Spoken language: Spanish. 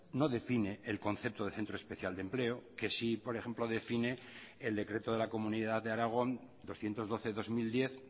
no define el concepto de centro especial de empleo que sí por ejemplo define el decreto de la comunidad de aragón doscientos doce barra dos mil diez